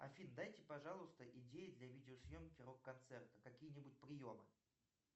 афина дайте пожалуйста идеи для видеосъемки рок концерта какие нибудь приемы